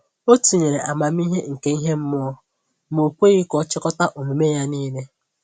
Ọ tinyere amamihe nke ihe mmụọ, ma o kweghị ka ọ chịkọta omume ya niile.